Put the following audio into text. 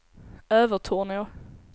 Övertorneå